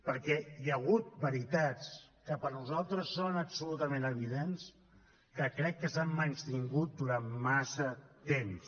perquè hi ha hagut veritats que per nosaltres són absolutament evidents que crec que s’han menystingut durant massa temps